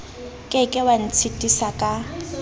ke ke wa ntshitisa ka